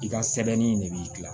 I ka sɛbɛnni de b'i gilan